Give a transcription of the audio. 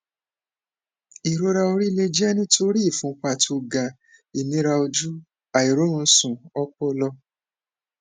ìrora orí lè jẹ nítorí ìfúnpá tó ga ìnira ojú àìróorunsùn ọpọlọ